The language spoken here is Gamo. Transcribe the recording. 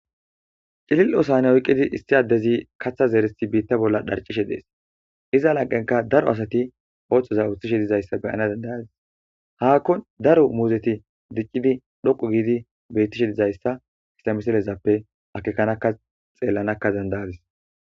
cilil7ovsane oyqqidi issi addezi katha zeerishe biitta bolla dharcishe dees iza laqenka daro asati ooththoza oththishe dizayssa beyana dandayadis haakkon daro muuzeti diccidi dhoqu giidi beyttishe dizayssa ista miselezappe akekanaka xeellanakka dandayadis